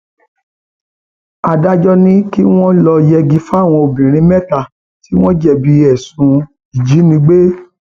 adájọ ni um kí wọn lọọ yẹgi fáwọn obìnrin mẹta tí wọn jẹbi ẹsùn um ìjínigbé